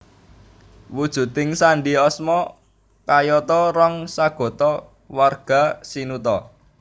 Wujuding sandi asma kayata Rong sagota warga sinuta